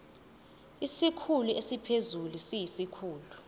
isikhulu esiphezulu siyisikhulu